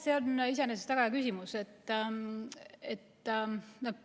See on iseenesest väga hea küsimus.